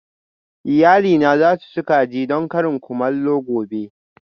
Iyalina za su ci kaji don karin kumallo gobe